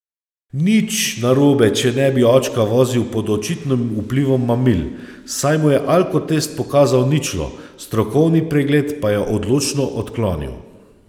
Nič narobe, če ne bi očka vozil pod očitnim vplivom mamil, saj mu je alkotest pokazal ničlo, strokovni pregled pa je odločno odklonil.